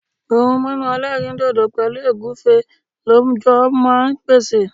ohun mímu elerindodo pẹlu ogunfe lọ jọ ma n pèsè